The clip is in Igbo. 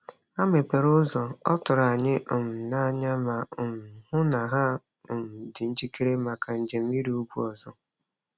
Anyị mepere ụzọ, ọ tụrụ anyị um n'anya, ma um hụ na ha um dị njikere maka njem ịrị ugwu ọzọ.